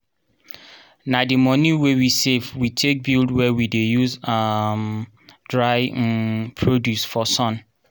na di moni wey we save we take build where we dey use um dry um produce for sun.